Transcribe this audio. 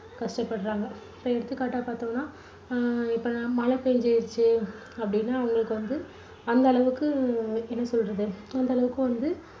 கஷ்டப்படுறாங்க. இப்போ எடுத்துக்காட்டா பாத்தோம்னா அஹ் இப்போ மழை பேஞ்சிருச்சு அப்டின்னா அவங்களுக்கு வந்து அந்த அளவுக்கு எப்படி சொல்றது அந்த அளவுக்கு வந்து